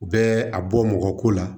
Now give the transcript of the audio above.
U bɛ a bɔ mɔgɔ ko la